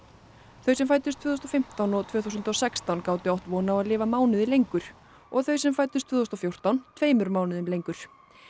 þau sem fæddust tvö þúsund og fimmtán og tvö þúsund og sextán gátu átt von á að lifa mánuði lengur og þau sem fæddust tvö þúsund og fjórtán tveimur mánuðum lengur